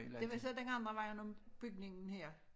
Det var så dengang der ikke var nogen bygning her